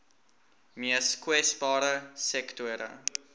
mees kwesbare sektore